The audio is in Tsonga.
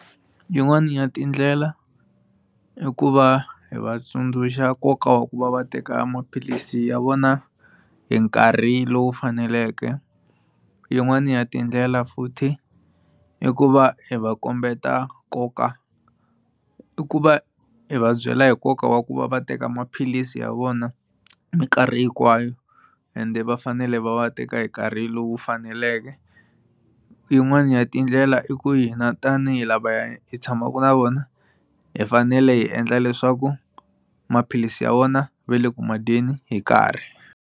Yin'wani ya tindlela i ku va hi vatsundzuxa nkoka wa ku va va teka maphilisi ya vona hi nkarhi lowu faneleke yin'wani ya tindlela futhi i ku va hi va kombeta nkoka i ku va hi va byela hi nkoka wa ku va va teka maphilisi ya vona mikarhi hinkwayo ende va fanele va va teka hi nkarhi lowu faneleke yin'wani ya tindlela i ku hina tanihi lavaya hi tshamaka na vona hi fanele hi endla leswaku maphilisi ya vona va le ku ma dyeni hi karhi.